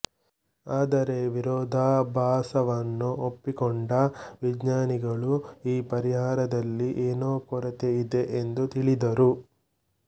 ಆದರೆ ವಿರೋಧಾಭಾಸವನ್ನು ಒಪ್ಪಿಕೊಂಡ ವಿಜ್ಞಾನಿಗಳು ಈ ಪರಿಹಾರದಲ್ಲಿ ಏನೋ ಕೊರತೆ ಇದೆ ಎಂದು ತಿಳಿದರು